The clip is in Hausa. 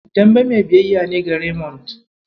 Dembe mai biyayya ne ga Remond.